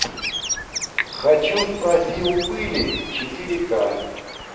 хочу спроси у пыли четыре ка